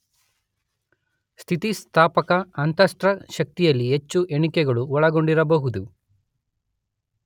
ಸ್ಥಿತಿಸ್ಥಾಪಕ ಅಂತಸ್ಥ ಶಕ್ತಿಯಲ್ಲಿ ಹೆಚ್ಚು ಎಣಿಕೆಗಳು ಒಳಗೊಂಡಿರಬಹುದು.